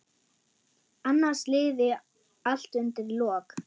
Annars liði allt undir lok.